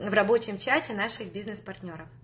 в рабочем чате наших бизнес партнёров